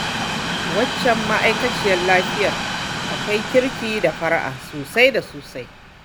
Waccan ma'aikaciyar lafiyar akwai kirki da fara'a sosai da sosai